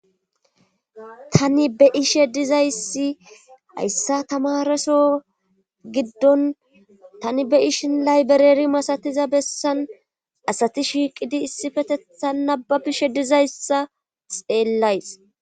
Ttani be ishe dizayssi hayssa tamareso giddon tani be ishi layberari masatiza bessan asati shiiqidi issifetetha naba bishe dizayssa xeellays.